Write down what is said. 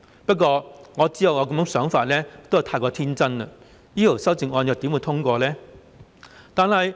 不過，我知道這樣想是過於天真，這項修正案又怎會獲通過呢？